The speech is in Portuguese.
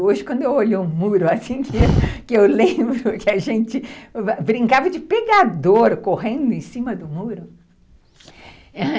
Hoje, quando eu olho o muro, eu lembro que a gente brincava de pegador, correndo em cima do muro.